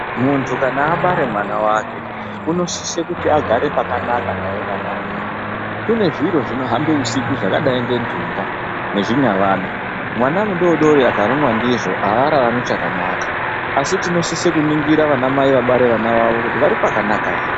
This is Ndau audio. Muntu kana abare mwana wake anosisa agare naye pakanaka naye mwana uyu kune zviro zvinohambe usiku zvakadai ngendunga nezvinyavada mwana mudiki akarumwa ndizvo araarmi chakanaka asi tinosisa kuningira ana mai abara vana vavo kuti vari pakanaka here.